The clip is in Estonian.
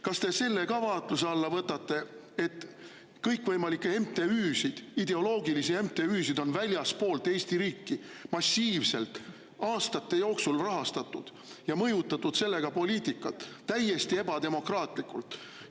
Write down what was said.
Kas te selle ka vaatluse alla võtate, et kõikvõimalikke MTÜ‑sid, ideoloogilisi MTÜ‑sid on väljastpoolt Eesti riiki aastate jooksul massiivselt rahastatud ja mõjutatud sellega poliitikat täiesti ebademokraatlikult?